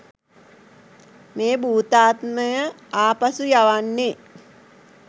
මේ භූතාත්මය ආපසු යවන්නේ?